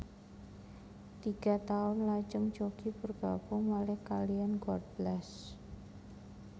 Tiga taun lajeng Jockie bergabung malih kaliyan God Bless